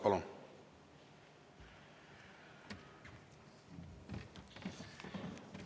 Palun!